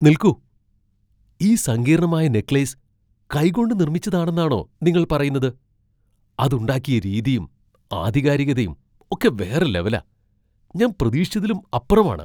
നിൽക്കൂ, ഈ സങ്കീർണ്ണമായ നെക്ലേസ് കൈകൊണ്ട് നിർമ്മിച്ചതാണെന്നാണോ നിങ്ങൾ പറയുന്നത് ? അത് ഉണ്ടാക്കിയ രീതിയും ആധികാരികതയും ഒക്കെ വേറെ ലെവലാ, ഞാൻ പ്രതീക്ഷിച്ചതിലും അപ്പുറമാണ്!